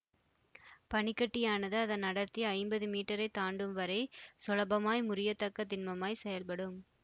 பனிக்கட்டியானது அதன் அடர்த்தி ஐம்பது மீட்டரை தாண்டும் வரை சுலபமாய் முறியத்தக்க திண்மமாய் செயல்படும்